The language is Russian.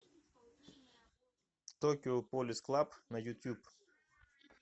токио полис клаб на ютюб